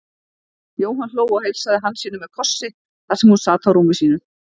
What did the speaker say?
Jóhann hló og heilsaði Hansínu með kossi þar sem hún sat á rúmi sínu.